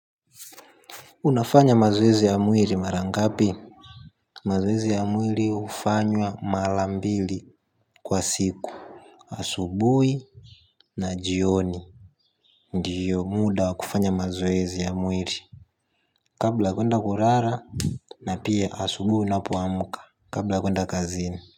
Unafanya mazoezi ya mwili mara ngapi? Mazoezi ya mwili hufanywa mara mbili kwa siku asubuhi na jioni. Ndiyo muda wa kufanya mazoezi ya mwili. Kabla ya kwenda kulala na pia asubuhi ninapo amka kabla ya kuenda kazini.